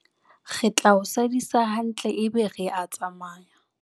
Re tla o sadisa hantle ebe re a tsamaya.